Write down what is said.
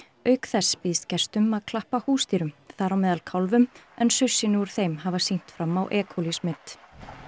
auk þess býðst gestum að klappa húsdýrum þar á meðal en saursýni úr þeim hafa sýnt fram á e coli smit